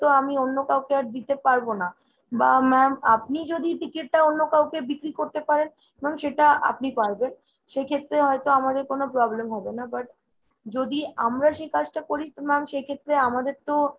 আমি আর অন্য কাউকে দিতে পারবো না। বা ma'am আপনি যদি ticket টা অন্য কাউকে বিক্রি করতে পারেন, ma'am সেটা আপনি পারবেন। সেক্ষেত্রে হয়তো আমাদের কোনো problem হবেনা, but যদি আমরা সে কাজটা করি তো ma'am সেক্ষেত্রে আমাদের তো